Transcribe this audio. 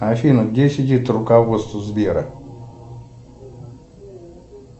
афина где сидит руководство сбера